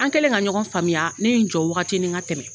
An kɛlen ka ɲɔgɔn faamuya ne ye n jɔ wagatinin ka tɛmɛ.